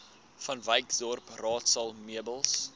vanwyksdorp raadsaal meubels